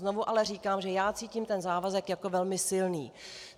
Znovu ale říkám, že já cítím ten závazek jako velmi silný.